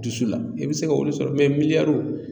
Dusu la i bɛ se ka olu sɔrɔ mɛ